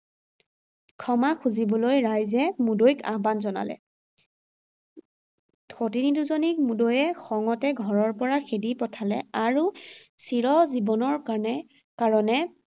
ক্ষমা খুঁজিবলৈ ৰাইজে মুদৈক আহ্বান জনালে। সতিনী দুজনীক মুদৈয়ে খঙতে ঘৰৰ পৰা খেদি পঠালে আৰু চিৰ জীৱনৰ কাৰ্নে, কাৰণে